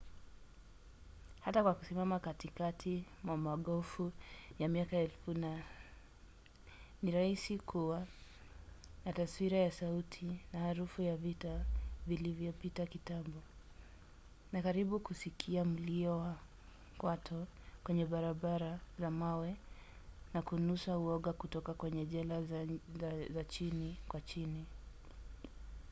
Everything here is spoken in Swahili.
hata kwa kusimama katikati mwa magofu ya miaka elfu ni rahisi kuwa na taswira ya sauti na harufu ya vita vilivyopita kitambo na karibu kusikia mlio wa kwato kwenye barabara za mawe na kunusa uoga kutoka kwenye jela za chini kwa chini